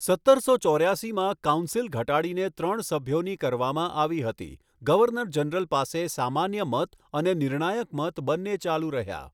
સત્તરસો ચોર્યાસીમાં, કાઉન્સિલ ઘટાડીને ત્રણ સભ્યોની કરવામાં આવી હતી, ગવર્નર જનરલ પાસે સામાન્ય મત અને નિર્ણાયક મત બંને ચાલુ રહ્યા.